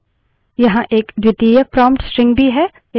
यहाँ एक द्वितीयक prompt string भी है